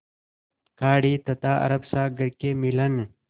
खाड़ी तथा अरब सागर के मिलन